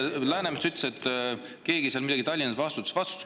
Läänemets ütles, et keegi seal Tallinnas millegi eest vastutas.